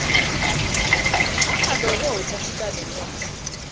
angalokothi athintane nendle